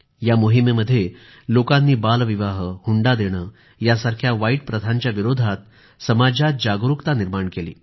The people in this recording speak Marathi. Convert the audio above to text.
या मोहिमेमध्ये लोकांनी बालविवाह हुंडा देणे यासारख्या वाईट प्रथांच्या विरोधात समाजात जागरूकता निर्माण केली